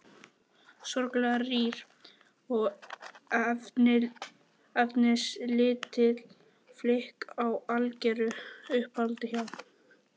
Sorglega rýr og efnislítil flík í algeru uppáhaldi hjá